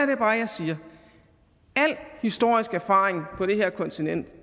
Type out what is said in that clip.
det bare jeg siger al historisk erfaring på det her kontinent